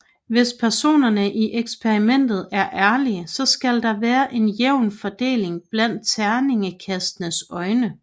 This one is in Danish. Hvis personerne i eksperimentet er ærlige så skal der være en jævn fordeling blandt terningekastenes øjne